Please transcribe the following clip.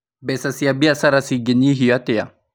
Mbeca cia bĩcara cĩgĩnyihio atĩa?